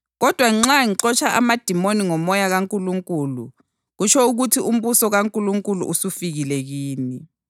Kodwa nxa ngixotsha amadimoni ngoMoya kaNkulunkulu, kutsho ukuthi umbuso kaNkulunkulu usufikile kini.